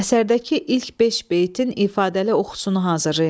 Əsərdəki ilk beş beytin ifadəli oxusunu hazırlayın.